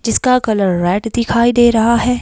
जिसका colour red दिखाई दे रहा है।